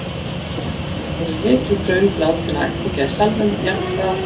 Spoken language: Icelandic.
Nú virðist vera orðin mikil þröng látinna ættingja í salnum, jafnt frá